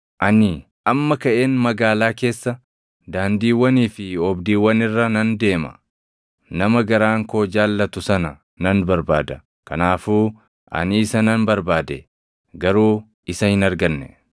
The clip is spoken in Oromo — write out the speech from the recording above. Ani amma kaʼeen magaalaa keessa, daandiiwwanii fi oobdiiwwan irra nan deema; nama garaan koo jaallatu sana nan barbaada. Kanaafuu ani isa nan barbaade; garuu isa hin arganne.